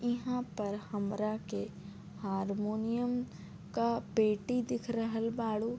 यहाँ पर हमरा के हारमोनियम का पेटी दिख रहल बाड़ू।